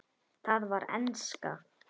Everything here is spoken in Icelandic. Það var enska.